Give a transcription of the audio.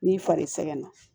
N'i fari sɛgɛn na